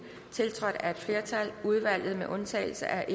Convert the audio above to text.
tiltrådt af et flertal i udvalget med undtagelse af